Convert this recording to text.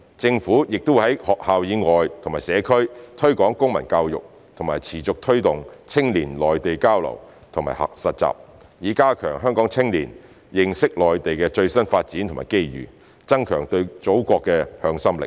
政府亦會在學校以外和社區推廣公民教育，並持續推動青年內地交流及實習，以加強香港青年認識內地的最新發展和機遇，增強對祖國的向心力。